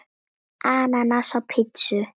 Ananas á pizzu?